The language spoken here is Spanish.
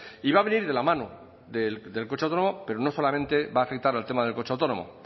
y va a venir de la mano del coche autónomo pero no solamente va a afectar al tema del coche autónomo